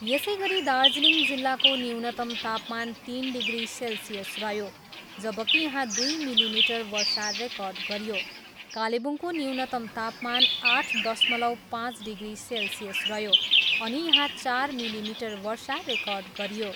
यसैगरी दार्जिलिङ जिल्लाको न्यूनतम तापमान तिन डिग्री सेल्सियस रह्यो, जबकि यहाँ दुई मिलिमिटर वर्षा रेकर्ड गरियो। कालेबुङको न्यूनतम तापमान आठ दशमलव पाँच डिग्री सेल्सियस रह्यो अनि यहाँ चार मिलिमिटर वर्षा रेकर्ड गरियो।